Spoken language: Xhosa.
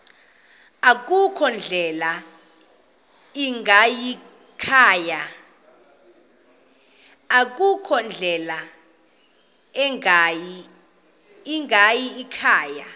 akukho ndlela ingayikhaya